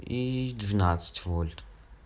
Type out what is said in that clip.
и двенадцать вольт